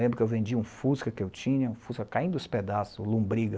Lembro que eu vendi um fusca que eu tinha, um fusca caindo aos pedaços, lombriga.